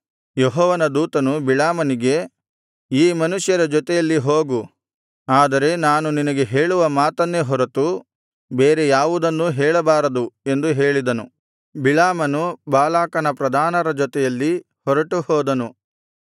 ಯೆಹೋವನ ದೂತನು ಬಿಳಾಮನಿಗೆ ಈ ಮನುಷ್ಯರ ಜೊತೆಯಲ್ಲಿ ಹೋಗು ಆದರೆ ನಾನು ನಿನಗೆ ಹೇಳುವ ಮಾತನ್ನೇ ಹೊರತು ಬೇರೆ ಯಾವುದನ್ನೂ ಹೇಳಬಾರದು ಎಂದು ಹೇಳಿದನು ಬಿಳಾಮನು ಬಾಲಾಕನ ಪ್ರಧಾನರ ಜೊತೆಯಲ್ಲಿ ಹೊರಟುಹೋದನು